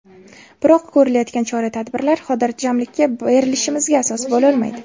Biroq ko‘rilayotgan chora-tadbirlar xotirjamlikka berilishimizga asos bo‘lolmaydi”.